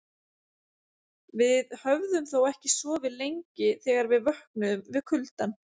Við höfðum þó ekki sofið lengi þegar við vöknuðum við kuldann.